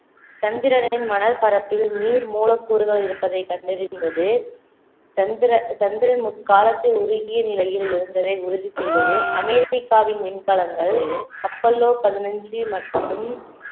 சந்திரனின் மணல் பரப்பில் நீர் மூலக்கூறுகள் இருப்பதை கண்டறிந்தது சந்திர~ சந்திரன் முக்காலத்தில் உருகிய நிலையில் இருந்ததை உறுதி செய்தது அமெரிக்காவின் விண்கலங்கள் அப்போலோ பதினஞ்சு மற்றும்